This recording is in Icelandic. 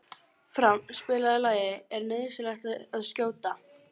Frán, spilaðu lagið „Er nauðsynlegt að skjóta“.